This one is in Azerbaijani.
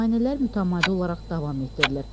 Müayinələr mütəmadi olaraq davam etdirilir.